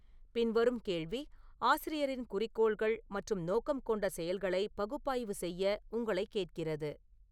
பின்வரும் கேள்வி ஆசிரியரின் குறிக்கோள்கள் மற்றும் நோக்கம் கொண்ட செயல்களை பகுப்பாய்வு செய்ய உங்களைக் கேட்கிறது